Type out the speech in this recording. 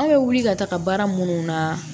An bɛ wuli ka taga baara minnu na